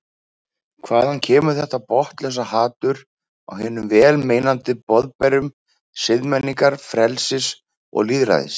Hvaðan kemur þetta botnlausa hatur á hinum vel meinandi boðberum siðmenningar, frelsis og lýðræðis?